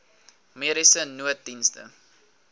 mediese nooddienste